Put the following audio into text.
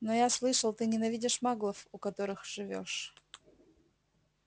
но я слышал ты ненавидишь маглов у которых живёшь